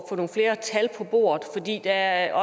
det er jo